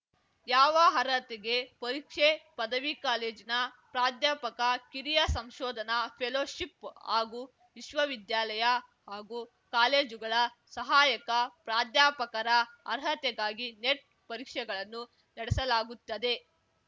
ಯಾವ ಅರ್ಹತೆಗೆ ಪರೀಕ್ಷೆ ಪದವಿ ಕಾಲೇಜಿನ ಪ್ರಾಧ್ಯಾಪಕ ಕಿರಿಯ ಸಂಶೋಧನಾ ಫೆಲೋಶಿಪ್‌ ಹಾಗೂ ವಿಶ್ವವಿದ್ಯಾಲಯ ಹಾಗೂ ಕಾಲೇಜುಗಳ ಸಹಾಯಕ ಪ್ರಾಧ್ಯಾಪಕರ ಅರ್ಹತೆಗಾಗಿ ನೆಟ್‌ ಪರೀಕ್ಷೆಗಳನ್ನು ನಡೆಸಲಾಗುತ್ತದೆ